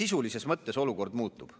sisulises mõttes olukord muutub.